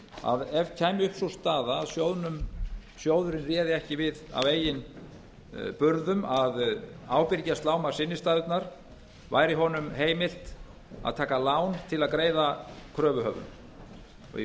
að ef upp kæmi sú staða að sjóðurinn réði ekki við af eigin burðum að ábyrgjast lágmarksinnstæðurnar væri honum heimilt að taka lán til að greiða kröfuhöfum í